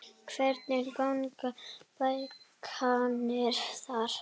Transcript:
Hvernig ganga bókanir þar?